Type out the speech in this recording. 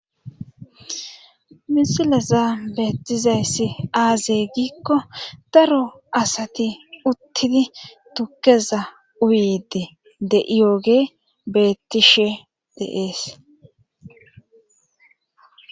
misileza beettizayssi aaze giikko daro asati uttidi tukeza uyide de7iyooge beettishe deees